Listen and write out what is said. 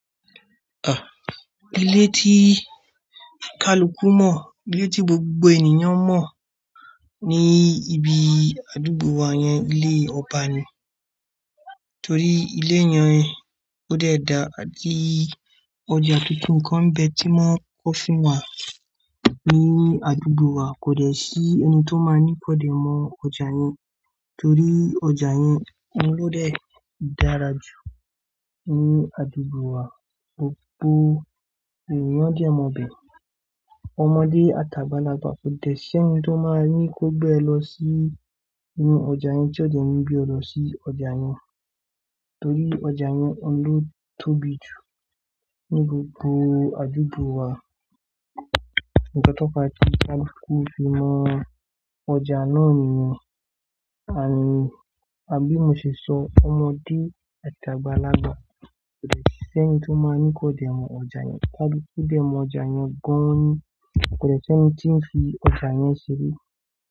Ilé tí ìkálukú mọ̀, ilé tí gbogbo ènìyàn mọ̀ ní ibi àdúgbò wa yẹn, ilé ọba ni. Torí ilé yẹn ó dẹ̀ da, àtí ọjà tuntun kan nbe tí mon ń kọ́ fún wa ní inú àdúgbò wa, kò dẹ̀ sí ẹni tó máa ní kò dẹ̀ mọ ọjà yẹn. Torí ọjà yẹn ohun lo dẹ̀ dára jù ní àdúgbò wa, gbogbo ènìyàn dẹ̀ mọ ibẹ̀. Ọmọdé àtàgbàlágbà kò dẹ̀ ṣí ẹni tí ó máa ní kó gbe e lọ sí inú ọjà yẹn, tí ó dẹ̀ ni gbe e lo sí ọjà yẹn. Torí ọjà yẹn ọhun lo tóbi jù ní gbogbo àdúgbò wa. Nkan to fe tí ìkálukú fi mọ ọjà náà niyen, ànd, a, bí mo ṣe sọ ọmọdé àtàgbàlágbà kò dẹ̀ ṣí ẹni tí ó máa ní kó dẹ̀ mọ ọjà yẹn. Kálukú gbé ọjà yẹn gan-an ni, kò dẹ̀ ṣí ẹni tí ń fi ọjà yẹn ṣeré.